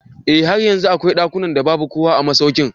Eh har yanzu akwai dakunan da babu kowa a masaukin.